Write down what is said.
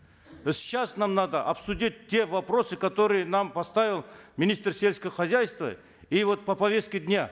сейчас нам надо обсудить те вопросы которые нам поставил министр сельского хозяйства и вот по повестке дня